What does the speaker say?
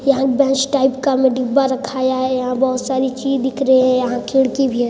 यह एक best type का डिब्बा रखा है यहाँ बहुत सारी चीज दिख रही है या खिड़की भी है।